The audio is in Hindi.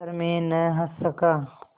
पर मैं न हँस सका